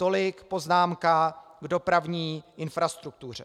Tolik poznámka k dopravní infrastruktuře.